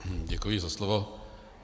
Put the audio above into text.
Děkuji za slovo.